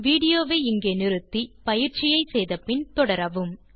video வை நிறுத்தி பயிற்சியை முடித்த பின் தொடரவும்